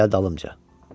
Gəl dalımca.